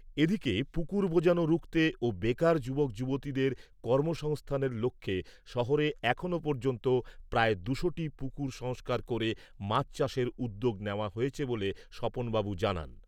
এদিকে, পুকুর বোজানো রুখতে ও বেকার যুবক যুবতীদের কর্মসংস্থানের লক্ষ্যে শহরে এখনো পর্যন্ত প্রায় দুশোটি পুকুর সংস্কার করে মাছ চাষের উদ্যোগ নেওয়া হয়েছে বলে স্বপনবাবু জানান।